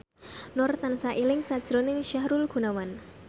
Nur tansah eling sakjroning Sahrul Gunawan